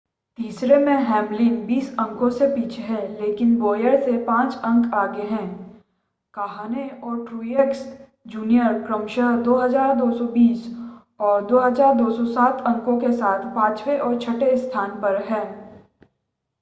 तीसरे में हैमलिन बीस अंकों से पीछे हैं लेकिन बोयर से पांच अंक आगे हैं काहने और ट्रूएक्स जूनियर क्रमशः 2,220 और 2,207 अंकों के साथ पांचवें और छठे स्थान पर हैं